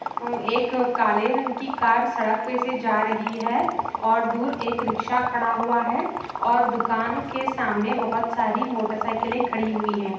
उम एक काले रंग की कर सड़क पे से जा रही है और दूर एक रीक्शा खड़ा हुआ है और दुकानो के सामने बहुत सारी मोटर साइकिल खड़ी हुई है।